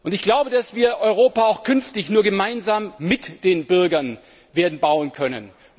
Ich glaube, dass wir Europa auch künftig nur gemeinsam mit den Bürgern werden bauen können.